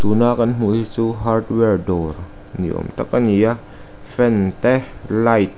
na kan hmuh hi chu hardware dawr ni awm tak a ni a fan te light --